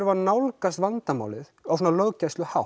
að nálgast vandamálið á